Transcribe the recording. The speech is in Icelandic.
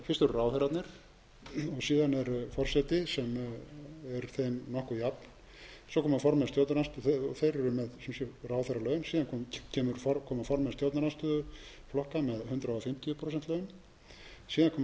ráðherrarnir síðan er forseti sem er þeim nokkuð jafn svo koma formenn stjórnar þeir eru með sem sé ráðherralaun síðan koma formenn stjórnarandstöðuflokka með hundrað fimmtíu prósent laun síðan koma